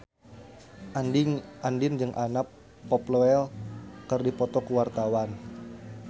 Andien jeung Anna Popplewell keur dipoto ku wartawan